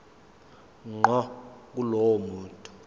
ngqo kulowo muntu